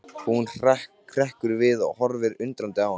Hún hrekkur við og horfir undrandi á hann.